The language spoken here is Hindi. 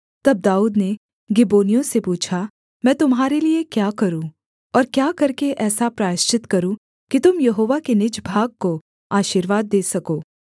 तब दाऊद ने गिबोनियों से पूछा मैं तुम्हारे लिये क्या करूँ और क्या करके ऐसा प्रायश्चित करूँ कि तुम यहोवा के निज भाग को आशीर्वाद दे सको